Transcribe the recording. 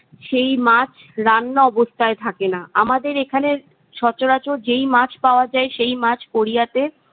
সেই মাছ রান্না অবস্থায় থাকে না। আমাদের এখানের সচরাচর যেই মাছ পাওয়া যায় সেই মাছ কোরিয়াতে